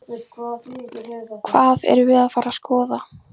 Hvað erum við að fara að skoða?